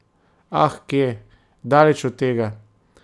Ah kje, daleč od tega!